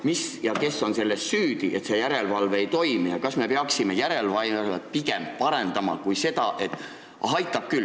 Mis ja kes on süüdi selles, et järelevalve ei toimi, ja kas me peaksime järelevalvet pigem parendama, kui ütlema, et aitab küll?